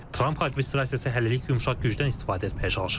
Tramp administrasiyası hələlik yumşaq gücdən istifadə etməyə çalışır.